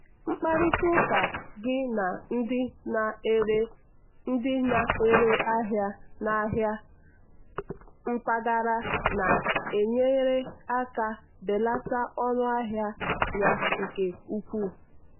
mkparịta ụka gị na ndị na-ere ndị na-ere ahịa n'ahịa mpaghara na-enyere aka belata ọnụ ahịa ya nke ukwuu.